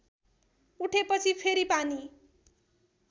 उठेपछि फेरि पानी